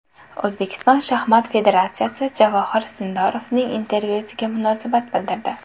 O‘zbekiston shaxmat federatsiyasi Javohir Sindorovning intervyusiga munosabat bildirdi.